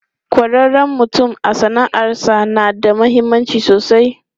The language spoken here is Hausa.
Kwarewan mutum a sana'arsa na da mahimmanci sosai.